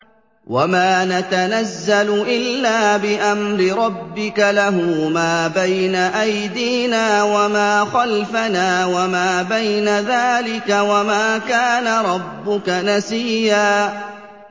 وَمَا نَتَنَزَّلُ إِلَّا بِأَمْرِ رَبِّكَ ۖ لَهُ مَا بَيْنَ أَيْدِينَا وَمَا خَلْفَنَا وَمَا بَيْنَ ذَٰلِكَ ۚ وَمَا كَانَ رَبُّكَ نَسِيًّا